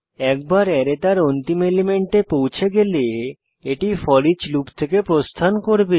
একবার অ্যারে তার অন্তিম এলিমেন্টে পৌছে গেলে এটি ফোরিচ লুপ থেকে প্রস্থান করবে